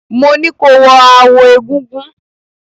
Mo ní ko wọ aawo egúngún!